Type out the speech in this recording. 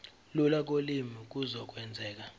lula kolimi kuzokwenzeka